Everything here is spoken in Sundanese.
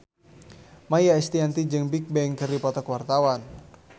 Maia Estianty jeung Bigbang keur dipoto ku wartawan